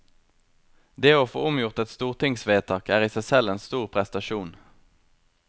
Det å få omgjort et stortingsvedtak er i seg selv en stor prestasjon.